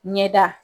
Ɲɛda